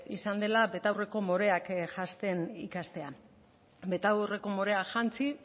izan dela betaurreko moreak janzten ikastea betaurreko moreak jantzi